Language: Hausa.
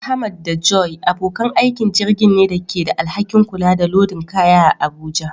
Ahmad da Joy abokan aikin jirgin ne da ke da alhakin kula da lodin kaya a Abuja.